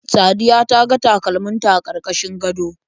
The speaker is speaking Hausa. Sadiya ta ga takalman ta a karkashin gado.